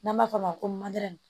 N'an b'a fɔ o ma ko